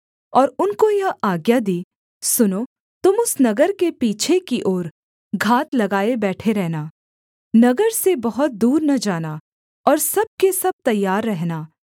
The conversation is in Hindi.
और उनको यह आज्ञा दी सुनो तुम उस नगर के पीछे की ओर घात लगाए बैठे रहना नगर से बहुत दूर न जाना और सब के सब तैयार रहना